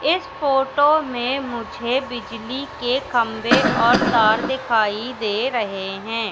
इस फोटो में मुझे बिजली के खंभे और तार दिखाई दे रहे हैं।